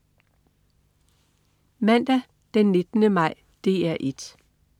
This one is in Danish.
Mandag den 19. maj - DR 1: